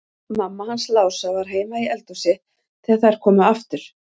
Mamma hans Lása var heima í eldhúsi þegar þær komu aftur.